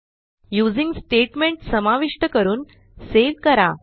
using statement समाविष्ट करून save करा